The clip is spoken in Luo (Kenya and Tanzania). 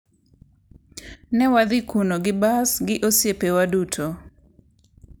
Ne wadhi kuno gi bas gi osiepewa duto.